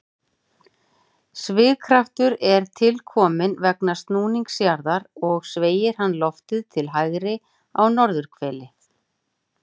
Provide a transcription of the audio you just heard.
Svigkraftur er til kominn vegna snúnings jarðar og sveigir hann loftið til hægri á norðurhveli.